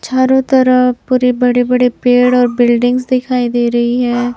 चारों तरफ पूरे बड़े बड़े पेड़ और बिल्डिंग्स दिखाई दे रही हैं।